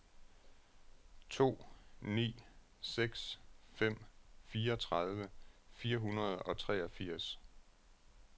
to ni seks fem fireogtredive fire hundrede og treogfirs